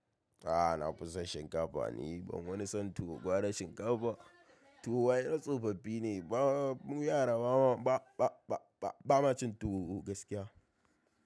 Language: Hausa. A'a nafison shinkafa ni ban wani son tuwo gwara shinkafa. Tuwo ai na tsofaffi ne. Mu yara ba ma cin tuwo gaskiya.